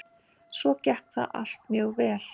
Svo gekk það allt mjög vel.